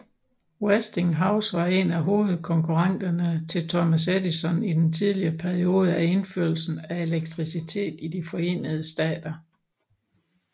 Westinghouse var en af hovedkonkurrenterne til Thomas Edison i den tidlige periode af indførelsen af elektricitet i De Forenede Stater